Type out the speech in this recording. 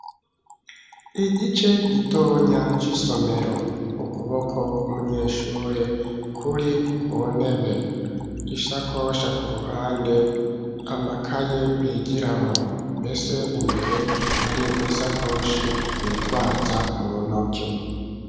Igice gitonya c'isomero, ukuboko kw'umunyeshure kuri ku ntebe; isakosha ku ruhande, amakaye bigiramwo, mbese imbere, hari n'isakoshi bitwaza mu ntoke.